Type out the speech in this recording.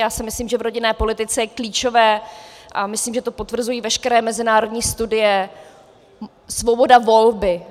Já si myslím, že v rodinné politice je klíčová, a myslím, že to potvrzují veškeré mezinárodní studie, svoboda volby.